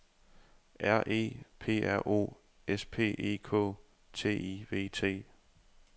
R E P R O S P E K T I V T